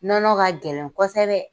Nɔnɔ ka gɛlɛn kosɛbɛ.